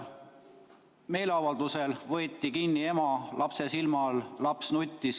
Meeleavaldusel võeti ema kinni lapse silme all, laps nuttis.